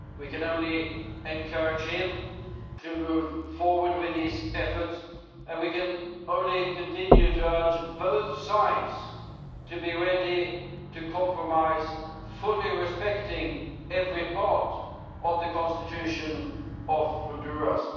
We can only encourage him to move forward with those efforts and we can only continue to urge both sides to be ready to compromise, fully respecting every part of the constitution of Honduras.